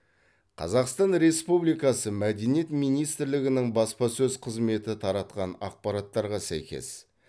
қазақстан республикасы мәдениет министрлігінің баспасөз қызметі таратқан ақпараттарға сәйкес